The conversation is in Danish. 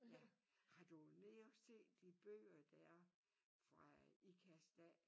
Ja har du været nede og se de bøger der er fra Ikast af?